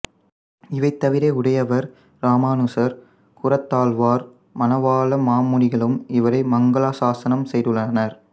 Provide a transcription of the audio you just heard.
இவைத்தவிர உடையவர் இராமானுசர் கூரத்தாழ்வார் மணவாள மாமுனிகளும் இவரை மங்களாசாசனம் செய்துள்ளனர்